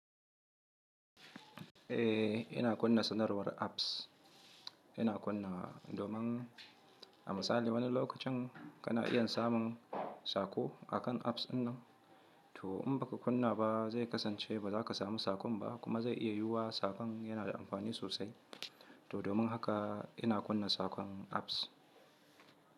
Eh ina kunna sanarwar apps, ina kunna domin a misali wani lokacin kana iya samun saƙo akan apps ɗinnan to in baka kunna ba zai kasance ba za ka samu saƙon ba kuma zai iya yiwuwa sabon yana da amfani sosai, to domin haka ina kunna saƙon apps.